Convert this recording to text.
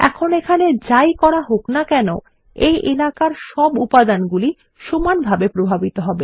এখন এখানে যাই করা হোক না কেন এই এলাকার সকল উপাদানগুলি সমানভাবে প্রভাবিত হবে